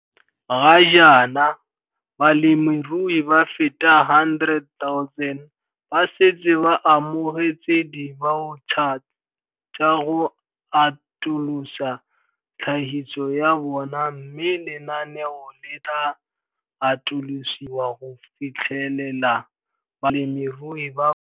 Ga jaana, balemirui ba feta 100 000 ba setse ba amogetse dibaotšha tsa go atolosa tlhagiso ya bona mme lenaneo le tla atolosiwa go fitlhelela balemirui ba bangwe.